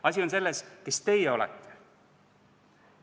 Asi on selles, kes teie olete.